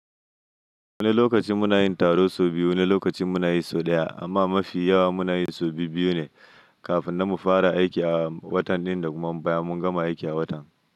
Wani lokaci muna yin taro sau biyu, wani lokaci muna yi sau ɗaya amma mafi yawa muna yi sau biyu ne kafin na mu fara aiki a watan ɗin da kuma baya mun gama aiki a watan.